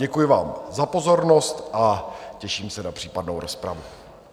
Děkuji vám za pozornost a těším se na případnou rozpravu.